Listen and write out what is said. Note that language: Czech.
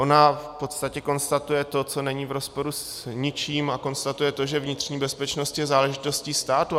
Ona v podstatě konstatuje to, co není v rozporu s ničím, a konstatuje to, že vnitřní bezpečnost je záležitostí státu.